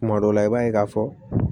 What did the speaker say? Kuma dɔ la i b'a ye k'a fɔ